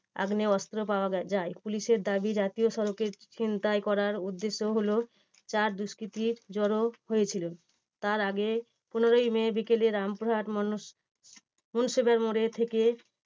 আগ্নেয় অস্ত্র পাওয়া যায়। পুলিশের দাবী জাতীয় সড়কের ছিনতাই করার উদ্দেশ্য হলো চার দুষ্কৃতীর জড়ো হয়েছিলেন। তার আগে পুনরায় বিকেলে রামপুরহাট মনো~ মুন্সিপাল মোড়ে থেকে